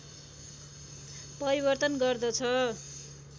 परिवर्तन गर्दछ